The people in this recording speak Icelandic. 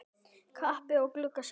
Kappi yfir glugga sést.